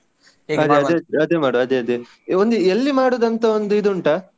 ಅದೇ ಮಾಡ್ವ ಅದೇ ಅದೇ ಒಂದು ಎಲ್ಲಿ ಮಾಡುದು ಅಂತ ಇದು ಉಂಟಾ?